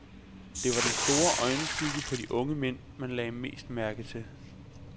Det var den sorte øjenskygge på de unge mænd, man lagde mest mærke til.